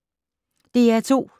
DR2